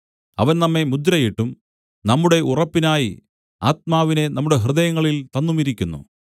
അവൻ നമ്മെ മുദ്രയിട്ടും നമ്മുടെ ഉറപ്പിനായി ആത്മാവിനെ നമ്മുടെ ഹൃദയങ്ങളിൽ തന്നുമിരിക്കുന്നു